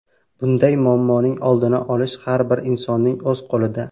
Bunday muammoning oldini olish har bir insonning o‘z qo‘lida.